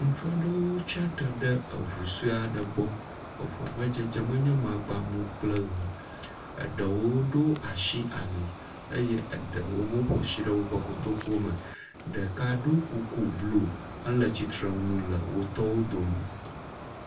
Ŋutsu aɖewo tsi atsitre ɖe eŋu sue aɖe gbɔ, eŋu ƒe dzedzeme nye magba mu kple ʋea eɖewo ɖo asi ali eye eɖewo hã ƒo asi ɖe woƒe kotoku me, ɖeka ɖo kuku blu hele tsitre ɖe wotɔwo dome.